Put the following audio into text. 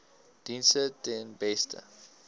dienste ten beste